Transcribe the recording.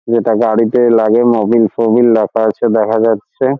যেটা গাড়িতে লাগে মোবিল ফোবিল রাখা আছে দেখা যাচ্ছে।